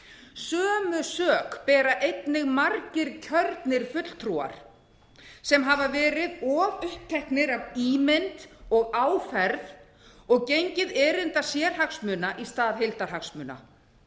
sömu sök bera einnig margir kjörnir fulltrúar sem hafa verið of uppteknir af ímynd og áferð og gengið erinda sérhagsmuna í stað heildarhagsmuna